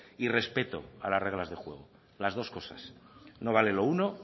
y respeto a las reglas de juego las dos cosas no vale lo uno